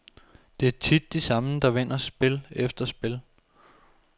Det er tit de samme, der vinder spil efter spil.